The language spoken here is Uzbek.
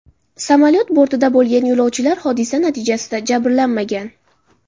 Samolyot bortida bo‘lgan yo‘lovchilar hodisa natijasida jabrlanmagan.